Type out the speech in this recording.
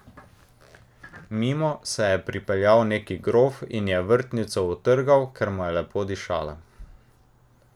Mimo se je pripeljal neki grof in je vrtnico utrgal, ker mu je lepo dišala.